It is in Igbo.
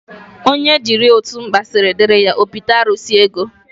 Onye jiri otu mkpa siri diri ya, o bite arụsi ego.